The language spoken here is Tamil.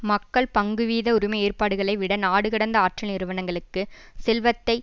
மக்கள் பங்குவீத உரிமை ஏற்பாடுகளை விட நாடுகடந்த ஆற்றல் நிறுனங்களுக்குச் செல்வத்தை